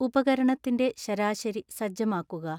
ഉപകരണത്തിന്റെ ശരാശരി സജ്ജമാക്കുക